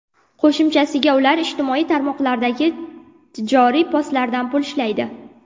Qo‘shimchasiga, ular ijtimoiy tarmoqlardagi tijoriy postlardan pul ishlaydi.